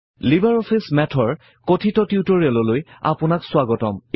LibreOffice Math ৰ কথিত টিউটৰিয়েললৈ আপোনাক স্বাগতম জনাইছোঁ